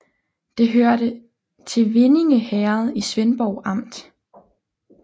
Det hørte til Vindinge Herred i Svendborg Amt